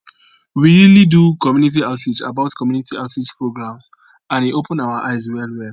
we really do community outreach about community outreach programs and e open our eyes well well